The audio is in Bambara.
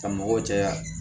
Ka mɔgɔw caya